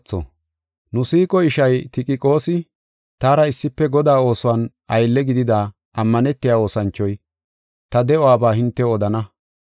Nu siiqo ishay Tikiqoosi, taara issife Godaa oosuwan aylle gidida, ammanetiya oosanchoy, ta de7uwabaa hintew odana.